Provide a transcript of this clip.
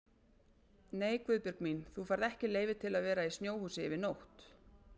Nei Guðbjörg mín, þú færð ekki leyfi til að vera í snjóhúsi yfir nótt